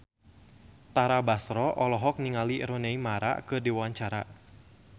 Tara Basro olohok ningali Rooney Mara keur diwawancara